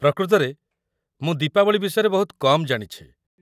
ପ୍ରକୃତରେ, ମୁଁ ଦୀପାବଳି ବିଷୟରେ ବହୁତ କମ୍ ଜାଣିଛି ।